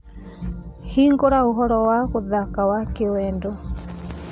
hingūra ūhoro wa gūthaka wa kīīwendo